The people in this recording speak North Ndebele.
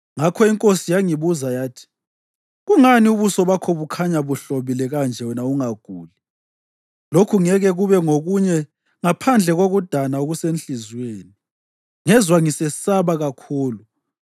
ngakho inkosi yangibuza yathi, “Kungani ubuso bakho bukhanya buhlobile kanje wena ungaguli? Lokhu ngeke kube ngokunye ngaphandle kokudana okusenhliziyweni.” Ngezwa ngisesaba kakhulu,